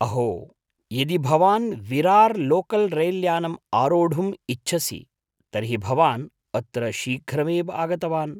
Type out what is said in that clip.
अहो, यदि भवान् विरार् लोकल् रैल्यानम् आरोढुम् इच्छसि तर्हि भवान् अत्र श्रीघ्रमेव आगतवान्।